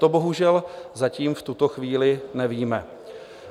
To bohužel zatím v tuto chvíli nevíme.